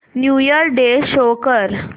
new year day show कर